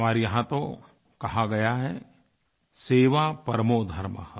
हमारे यहाँ तो कहा गया है सेवा परमो धर्मः